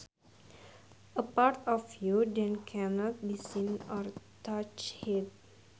A part of you that cannot be seen or touched